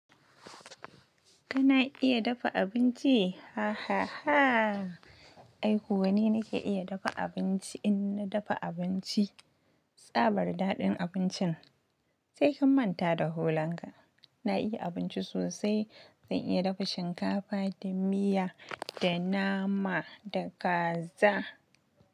Kana iya dafa abinci? Hahaha ai kuwa ni na ke iya dafa abinci in na dafa abinci, tsabar daɗin abincin sai kin manta da hulan ka. Na iya abinci sosai, zan iya dafa shinkafa da miya da nama da kaza.